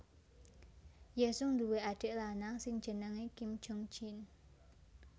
Yesung ndhuwe adik lanang sing jenengé Kim Jongjin